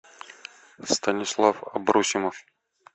станислав абросимов